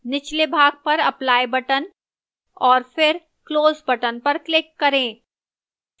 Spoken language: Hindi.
निचले भाग पर apply button और फिर close button पर click करें